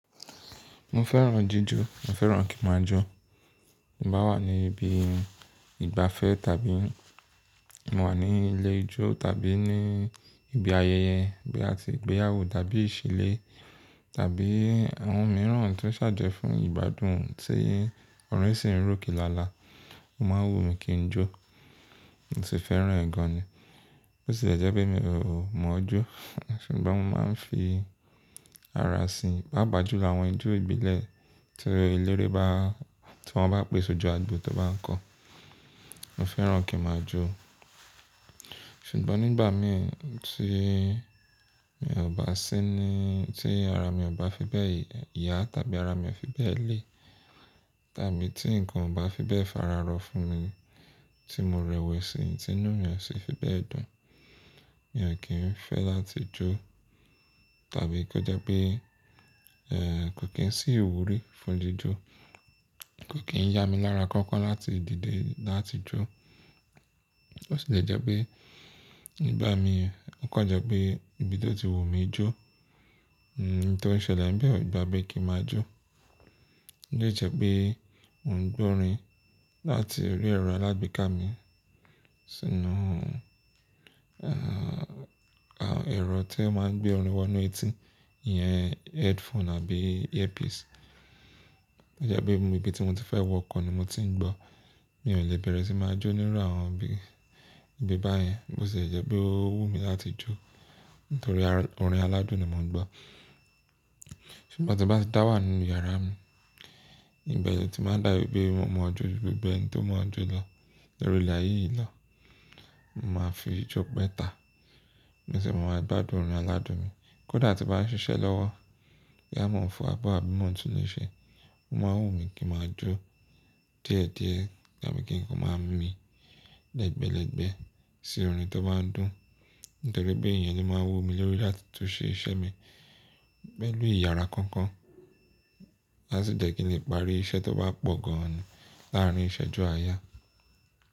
Mo fẹ́ràn jíjó, mo fẹ́ràn kí n máa jó. Mo bá wà ní ibi ìgbafẹ́ tàbí mo wà ní ilé ijó tàbí ní ibi ayẹyẹ bí a ti gbéyàwó tàbí ìṣílé tàbí àwọn mìíràn tí ó ṣàje fún ìgbádùn tí orin sì ń ròkè lála, mo máa ń wù mí kí n jó. Mo sì fẹ́ràn gan ni. Bóti le jẹ́ pé mi ò mọ̀ ọ́ jó, ṣùgbọ́n mo máa ń fi ara sin. Paapáa julo àwọn ijó ìbílẹ̀ tí eléré bá, tí wọ́n bá pèsè ojú agbo tí ó bá ń kọ. Mo fẹ́ràn kí n máa jó. Ṣùgbọ́n nígbà mí tí mi ò bá sí ní, tí ara mi ò bá fi bẹ́ẹ̀ yà tàbí ara mi ò fi bẹ́ẹ̀ le tàbí tí ǹkan ò bá fi bẹ́ẹ̀ fararọ fún mi tí mo rẹ̀wẹ̀sì tí inú mi ò sí fi bẹ́ẹ̀ dùn, mi ò kí ń fẹ́ láti jó tàbí kó jẹ́ pé, eh kò kín sí ìwúrí fún jíjó. Kò kí ń yá mi lára kankan láti dìde láti jó. Bo tì lè jẹ́ pé nígbà mí ó kọje pé ibi tó ti wù mí jó, nǹkan tí ó ṣẹlẹ̀ ń bẹ ò gba bí kí n máa jó. Ó lè jẹ́ pé ò ń gbọ́ orin láti rí ẹ̀rọ alágbeká mi sínú, eh, àwọn ẹ̀rọ tí ó máa ń gbé orin wọ inú etí yẹn headphone àbí earpiece. Ó jẹ́ pé ibi tí mo ti fẹ́ wọkọ̀ ni mo ti ń gbọ́. Mi ò lè bẹ̀rẹ̀ sí máa jó nínú àwọn ibi, ibi báyẹn bóti le jẹ́ pé ó wù mí láti jó nítorí ara, orin aládùn ni mo ń gbọ́. Ṣùgbọ́n tí bá ti dá wà nínú yàrá mi, ìgbẹ lotí máa ń dàbí pé mo mọ̀ ọ́n jó ju gbogbo ení tó mọ̀ ọ́n jó lọ. Lóríle aye yìí na, mo máa fi jó pẹ́ta. Mo sì máa ń gbádùn orin aládùn mi. Kódà tí mo bá ń ṣiṣẹ́ lọ́wọ́, boyá mọ̀ fo abọ́ àbí mò ń tún ilé ṣe, ó máa ń wù mí kí n máa jó díẹ̀ díẹ̀ tàbí kí n máa ń mí lẹ́gbẹ́lẹ́gbẹ́ sí orin tó bá ń dùn. Nítorí pé èèyàn ni ó máa ń wù mí lórí láti tún ṣe iṣẹ́ mi pẹ̀lú ìyára kankan ási jèkile parí iṣẹ́ tó bá pọ̀ ganni láàárín ìṣẹ́jú àáyá.